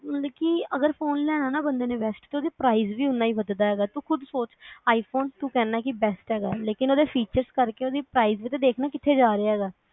ਲੇਕਿਨ ਅਗਰ ਫੋਨ ਲੈਣਾ ਨਾ ਬੰਦੇ ਨੇ best ਕਿਉਕਿ price ਵੀ ਉਹਨਾਂ ਹੀ ਵੱਧਦਾ ਹੈਗਾ ਤੂੰ ਖੁਦ੍ਹ ਸੋਚ i phone ਤੂੰ ਕਹਿਨਾ ਕਿ best ਹੈਗਾ ਲੇਕਿਨ ਅਗਰ features ਕਰ ਕੇ price ਵੀ ਤਾਂ ਦੇਖ ਨਾ ਕਿਥੇ ਜਾ ਰਿਹਾ ਹੈਗਾ